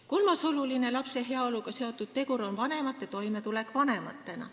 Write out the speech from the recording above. Kolmas oluline lapse heaoluga seotud tegur on vanemate toimetulek vanematena.